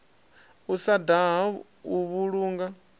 u sa daha u vhulunga